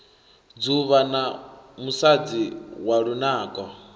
dzuvha na musadzi wa lunako